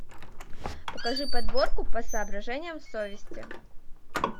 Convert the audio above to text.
покажи подборку по соображениям совести